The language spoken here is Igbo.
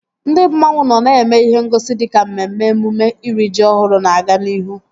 Ndị mmanwu nọ na-eme ihe ngosi dịka mmemme emume iri ji ọhụrụ na-aga n'ihu